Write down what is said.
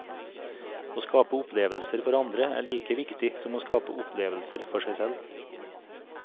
Å skape opplevelser for andre er like viktig som å skape opplevelser for seg selv.